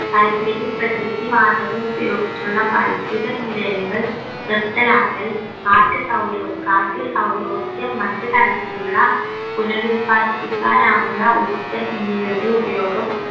കൽക്കരി പ്രകൃതി വാതകം ഉപയോഗിച്ചുള്ള വൈദ്യുത നിലയങ്ങൾ നിർത്തലാക്കൽ കാറ്റ് സൗരോ കാറ്റ് സൗരോർജം മറ്റ് തരത്തിലുള്ള പുനരുല്പാദിപ്പിക്കാൻ ആവുന്ന ഊർജം എന്നിവയുടെ ഉപയോഗം